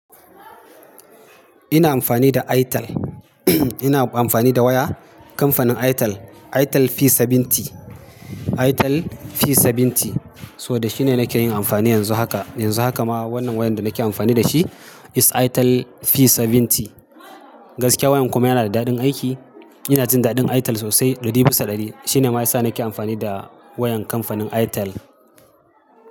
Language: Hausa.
Ina amfani da Airtel. Ina amfani da waya kamfanin Airtel, Airtel P70. Airtel P70, so da shi ne nake yin amfani yanzu haka. Yanzu haka ma wannan wayan da nake amfani da shi is Airtel P70. Gaskiya wayan kuma yana da daɗin aiki. Ina jin daɗin Airtel sosai ɗuri bisa ɗari. Shi ne ma ya sa nake amfani da wayan kamfanin Airtel.